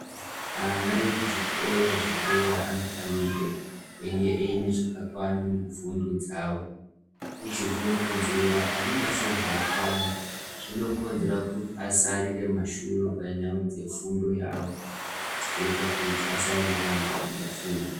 Ana ekuzvikora zvedera anofanirwe kunge aine zvakakwana mufundo dzavo nekuti zvinokonzera anenge asina zvakakwana, zvinokonzera kuti asarire kumashure panyaya dzefundo yawo zvoita kuti asaenderera mberi ngefundo.